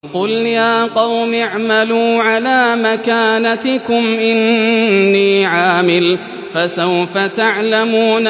قُلْ يَا قَوْمِ اعْمَلُوا عَلَىٰ مَكَانَتِكُمْ إِنِّي عَامِلٌ ۖ فَسَوْفَ تَعْلَمُونَ